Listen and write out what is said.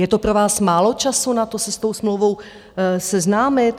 Je to pro vás málo času na to se s tou smlouvou seznámit?